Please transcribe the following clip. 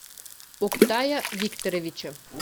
октая викторовича